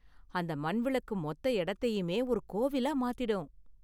அந்த மண் விளக்கு மொத்த இடத்தையுமே ஒரு கோவிலா மாத்திடும்.